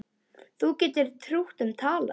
Þú getur trútt um talað